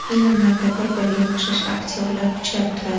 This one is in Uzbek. Filmlarda bir-niriga o‘xshash aktyorlar uchrab turadi.